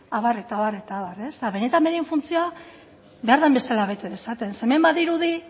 abar eta abar eta abar eta benetan beren funtzioa behar den bezala bete dezaten zeren hemen badirudi